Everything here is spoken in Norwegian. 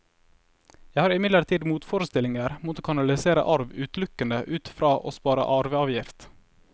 Jeg har imidlertid motforestillinger mot å kanalisere arv utelukkende ut fra å spare arveavgift.